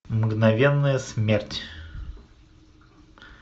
мгновенная смерть